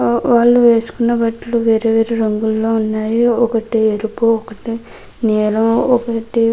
ఆ వాళ్ళు వేసుకున్న బట్టలు వేరు వేరు రంగులో ఉన్నాయి ఒకటి ఎరుపు ఒకటి నీలం ఒకటి--